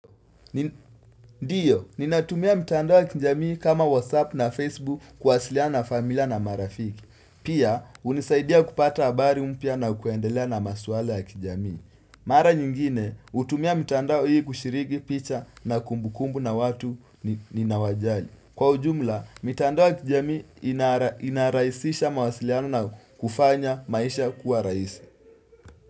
Ndiyo, ninatumia mitandao ya kijamii kama whatsapp na facebook kuwasiliana na familia na marafiki Pia, unisaidia kupata habari mpya na kuendelea na masuala ya kijamii Mara nyingine, utumia mitandao hii kushiriki picha na kumbukumbu na watu ni nawajali Kwa ujumla, mitandao ya kijamii inaraisisha mawasiliano na kufanya maisha kuwa raisi.